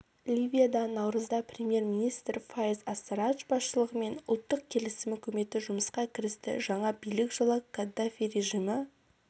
ливияда наурызда премьер-министр файез ассарадж басшылығымен ұлттық келісім үкіметі жұмысқа кірісті жаңа билік жылы каддафи режимі